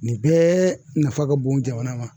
Nin bɛɛ nafa ka bon jamana ma.